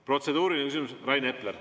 Protseduuriline küsimus, Rain Epler.